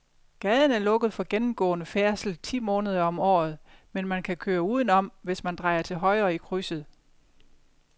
Gaden er lukket for gennemgående færdsel ti måneder om året, men man kan køre udenom, hvis man drejer til højre i krydset.